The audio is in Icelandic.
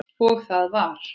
Og það var